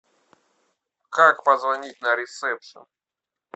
как позвонить на ресепшн